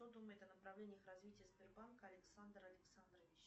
что думает о направлениях развития сбербанка александр александрович